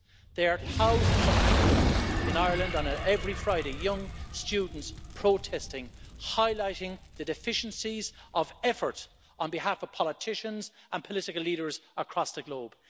There are thousands of people in Ireland on every Friday young students protesting, highlighting the deficiencies of effort on behalf of politicians and political leaders across the globe.